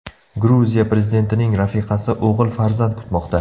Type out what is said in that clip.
Gruziya prezidentining rafiqasi o‘g‘il farzand kutmoqda.